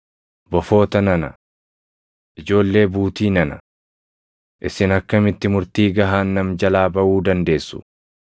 “Bofoota nana! Ijoollee buutii nana! Isin akkamitti murtii gahaannam jalaa baʼuu dandeessu?